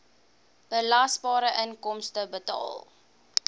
belasbare inkomste bepaal